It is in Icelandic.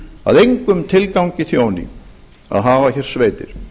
að engum tilgangi þjóni að hafa hér sveitir